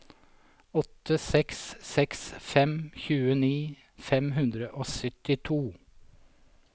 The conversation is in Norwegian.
åtte seks seks fem tjueni fem hundre og syttito